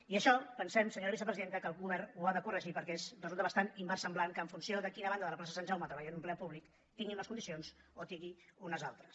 i això pensem senyora vicepresidenta que el govern ho ha de corregir perquè resulta bastant inversemblant que en funció de a quina banda de la plaça de sant jaume treballi un empleat públic tingui unes condicions o en tingui unes altres